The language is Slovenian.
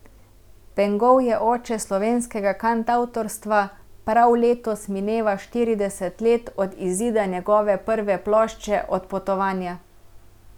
Pengov je oče slovenskega kantavtorstva, prav letos mineva štirideset let od izida njegove prve plošče Odpotovanja.